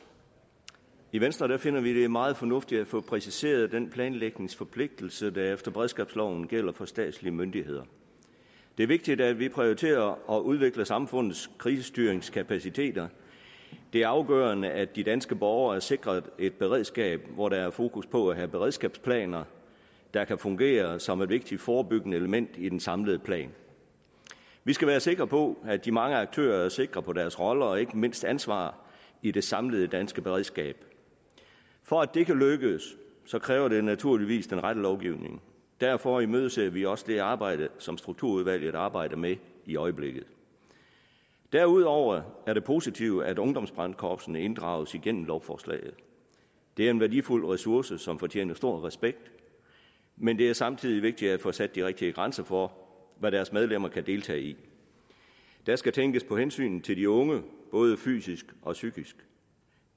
i venstre finder vi det meget fornuftigt at få præciseret den planlægningsforpligtelse der efter beredskabsloven gælder for statslige myndigheder det er vigtigt at vi prioriterer og udvikler samfundets krisestyringskapaciteter det er afgørende at de danske borgere er sikret et beredskab hvor der er fokus på at have beredskabsplaner der kan fungere som et vigtigt forebyggende element i den samlede plan vi skal være sikre på at de mange aktører er sikre på deres roller og ikke mindst ansvar i det samlede danske beredskab for at det kan lykkes kræver det naturligvis den rette lovgivning derfor imødeser vi også det arbejde som strukturudvalget arbejder med i øjeblikket derudover er det positivt at ungdomsbrandkorpsene inddrages igennem lovforslaget det er en værdifuld ressource som fortjener stor respekt men det er samtidig vigtigt at få sat de rigtige grænser for hvad deres medlemmer kan deltage i der skal tænkes på hensynet til de unge både fysisk og psykisk